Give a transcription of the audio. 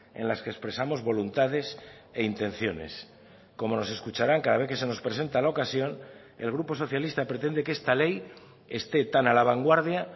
en las que expresamos voluntades e intenciones como nos escucharán cada vez que se nos presenta la ocasión el grupo socialista pretende que está ley esté tan a la vanguardia